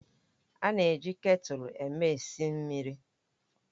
A na-eji ketulu eme esi mmiri